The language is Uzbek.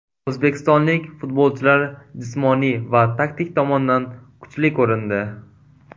O‘zbekistonlik futbolchilar jismoniy va taktik tomondan kuchli ko‘rindi.